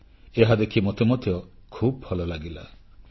ଏହାଦେଖି ମୋତେ ମଧ୍ୟ ଖୁବ୍ ଭଲ ଲାଗିଲା